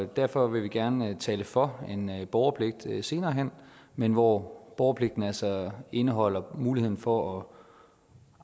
derfor vil vi gerne tale for en borgerpligt senere hen men hvor borgerpligten altså indeholder muligheden for